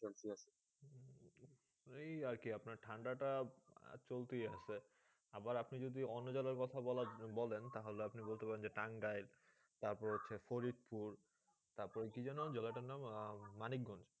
এই কি আপনার ঠান্ডা তা চলতেছি আসছে আবার আপনার যদি অন্য জলে কথা বলেন তা হলে আপনি বলতে পারেন দে টাংগায়ে তার পরে হয়েছে ফরিদপুর তার পর কি জায়গা নাম মানিকগঞ্জ